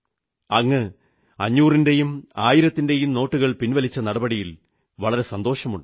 അങ്ങ് അഞ്ഞൂറിന്റെയും ആയിരത്തിന്റെയും നോട്ടുകൾ പിൻവലിച്ച നടപടിയിൽ വളരെ സന്തോഷമുണ്ട്